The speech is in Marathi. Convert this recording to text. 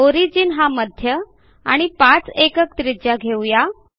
ओरिजिन हा मध्य आणि 5 एकक त्रिज्या घेऊ या